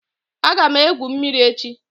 Aga m egwu mmiri echi.